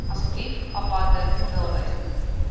asseblief aparte vraelyste